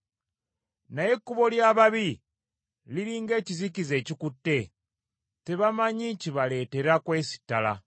Naye ekkubo ly’ababi liri ng’ekizikiza ekikutte, tebamanyi kibaleetera kwesittala.